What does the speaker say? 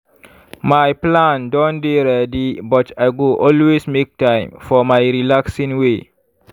my plan don dey ready but i go always make time for my relaxing way.